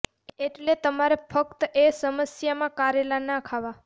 એટલે તમારે ફક્ત એ સમસ્યા માં કારેલા નાં ખાવા